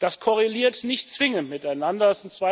Das korreliert nicht zwingend miteinander.